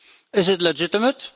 Is it legitimate?